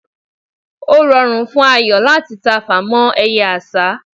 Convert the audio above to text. o rùn fún Ayo láti tafà mọ eye àsá